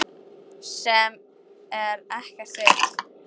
Sem er ekkert vit.